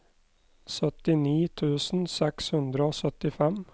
syttini tusen seks hundre og syttifem